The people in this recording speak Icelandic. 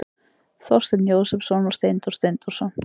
Þorsteinn Jósepsson og Steindór Steindórsson.